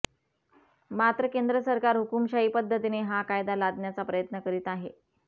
मात्र केंद्र सरकार हुकूमशाही पद्धतीने हा कायदा लादण्याचा प्रयत्न करीत आहे